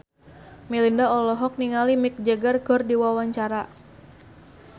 Melinda olohok ningali Mick Jagger keur diwawancara